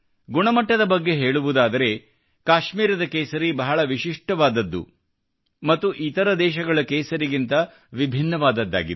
ಗುಣಮಟ್ಟದ ಬಗ್ಗೆ ಹೇಳುವುದಾದರೆ ಕಾಶ್ಮೀರದ ಕೇಸರಿ ಬಹಳ ವಿಶಿಷ್ಠವಾದದ್ದು ಮತ್ತು ಇತರ ದೇಶಗಳ ಕೆಸರಿಗಿಂತ ವಿಭಿನ್ನವಾದದ್ದಾಗಿದೆ